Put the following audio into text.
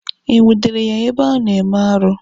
E nwudere ya ebe o na-eme arụ?